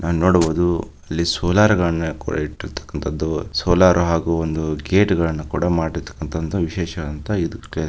ನೋಡ್ಬೋದು ಇಲ್ಲಿ ಸೋಲಾರ್ ಗಳನ್ನು ಇಟ್ಟಿರತಕಂತದು ಸೋಲಾರ್ ಹಾಗೂ ಒಂದ್ ಗೇಟ್ ಗಳನ್ನ ಕೂಡ ಮಾಡಿರತಕಂತ ಅಂತ ವಿಶೇಷ ಅಂತ --